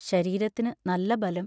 ശരീരത്തിനു നല്ല ബലം.